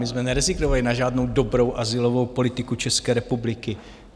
My jsme nerezignovali na žádnou dobrou azylovou politiku České republiky.